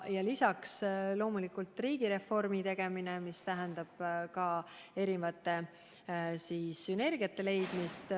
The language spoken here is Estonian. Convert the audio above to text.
Lisaks loomulikult riigireformi tegemine, mis tähendab ka erinevate sünergiate leidmist.